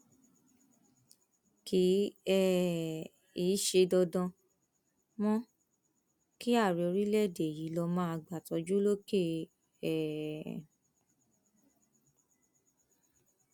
kì um í ṣe dandan mọ kí ààrẹ orílẹèdè yìí lọọ máa gbàtọjú lókè um